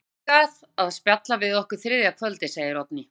Hann kemur hingað að spjalla við okkur þriðja kvöldið, segir Oddný.